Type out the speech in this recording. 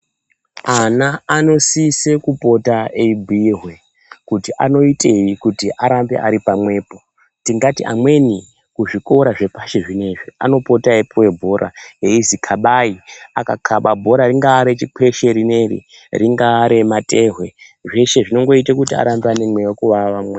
Ana anosisa kupota eibhuirwa kuti anoitei kuti aramba Ari pamwepo tingati amweni kuzvikora zvepashi zvinezvi anopota eipuwa bhora eiziva kabai akakaba bhora ringava rechikweshe rineri ringava rematehwe zveshe zvinoita arambe ane mweya wekuvava.